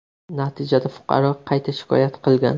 Natijada fuqaro qayta shikoyat qilgan.